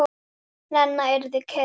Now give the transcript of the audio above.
Lena yrði kyrr.